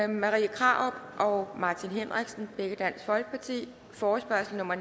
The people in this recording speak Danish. marie krarup og martin henriksen forespørgsel nummer